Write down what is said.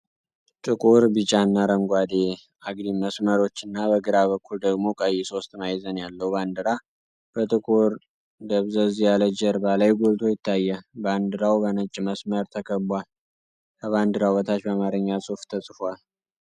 ጥቁር፣ ቢጫና አረንጓዴ አግድም መስመሮች እና በግራ በኩል ደግሞ ቀይ ሶስት ማዕዘን ያለው ባንዲራ በጥቁር ደበዘዝ ያለ ጀርባ ላይ ጎልቶ ይታያል። ባንዲራው በነጭ መስመር ተከቧል። ከባንዲራው በታች በአማርኛ ጽሑፍ ተጽፏል።